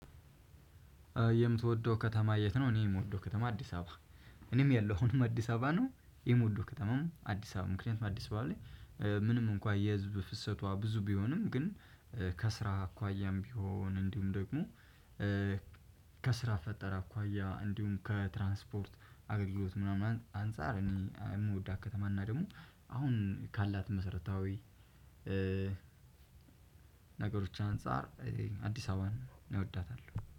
የምትወደው ከተማ የት ነው? እኔ የምወደው ከተማ አዲስ አበባ። እኔም ያለሁ አሁንም አዲስ አበባ ነው የምወደው ከተማም አዲስ አበባ ምክንያቱም አዲስአበባ ላይ። ምንም እንኳን የህዝብ ፍሰቷ ብዙ ቢሆንም ግን ከስራ አኳያም ቢሆን እንዲሁም ደግሞ። ከስራ ፈጠራ አኳያ እንዲሁም ከትራንስፖርት አገልግሎት ምናምን አንፃር እኔ የምወዳት ከተማ እና ደግሞ አሁን ካላት መሰረታዊ ነገሮች አንፃር አዲስ አበባን እወዳታለሁ